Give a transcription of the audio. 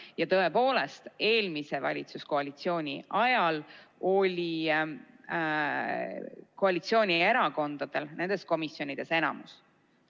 Ja tõepoolest, eelmise valitsuskoalitsiooni ajal oli koalitsioonierakondadel nendes komisjonides enamus.